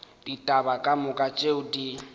ditaba ka moka tšeo di